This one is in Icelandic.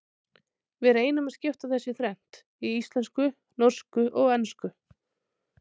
Við reynum að skipta þessu í þrennt, í íslensku, norsku og ensku.